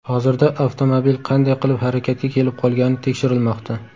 Hozirda avtomobil qanday qilib harakatga kelib qolgani tekshirilmoqda.